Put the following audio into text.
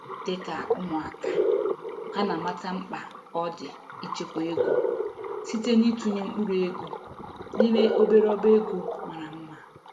Dịka ụmụaka, ha na amata mkpa ọ dị ichekwa ego site n'itụnye mkpụrụ ego n'ime obere ọba ego mara mma.